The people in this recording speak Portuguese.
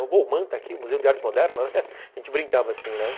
Bom, o Manta aqui, o Museu de Arte Moderna, a gente brincava assim, né?